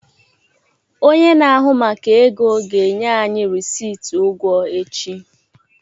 Onye na-ahụ maka ego ga-enye anyị rịsịtị ụgwọ echi.